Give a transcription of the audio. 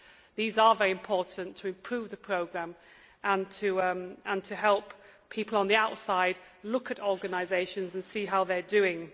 These are very important to improve the programme and help people on the outside look at organisations and see how they are doing.